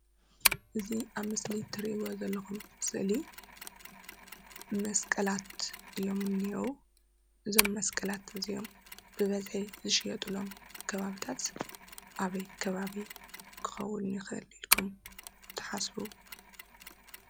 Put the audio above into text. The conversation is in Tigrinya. እዚ ኣብ ምስሊ እትርእይዎ ዘለኩም ስእሊ መስቀላት እዮም እኒኤዉ እዞም መስቀላት እዚኦም ብበዘሒ ዝሸየጥሎም ከባቢታት ኣበይ ከባቢ ክከውን ይክእል ኢልኩም ትሓሰቡ?